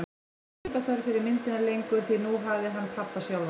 Hann hafði enga þörf fyrir myndina lengur, því nú hafði hann pabba sjálfan.